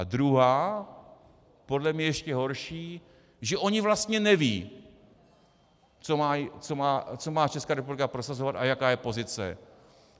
A druhá, podle mě ještě horší, že oni vlastně nevědí, co má Česká republika prosazovat a jaká je pozice.